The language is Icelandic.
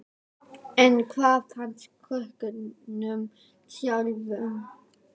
En hvað fannst krökkunum sjálfum?